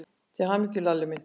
Til hamingju, Lalli minn.